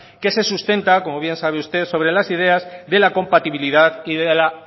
que se sustenta como bien sabe usted sobre las ideas de la compatibilidad y de la